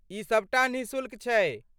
ई सबटा निःशुल्क छै।